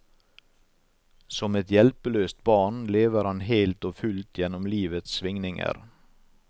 Som et hjelpeløst barn lever han helt og fullt gjennom livets svingninger.